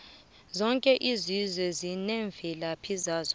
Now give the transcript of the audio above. zoke izizwe zinemvelaphi yazo